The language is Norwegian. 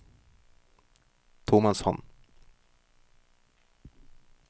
tomannshånd